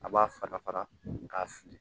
A b'a fara fara k'a fili